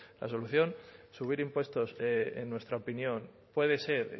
la solución subir impuestos en nuestra opinión puede ser